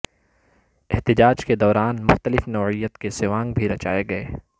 احتجاج کے دوران مختلف نوعیت کے سوانگ بھی رچائے گئے